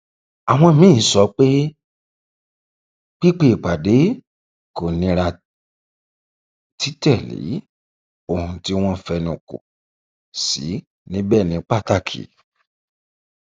àwọn míín sọ pé pípe ìpàdé kò nira títẹlé ohun tí wọn fẹnukọ sí níbẹ ní pàtàkì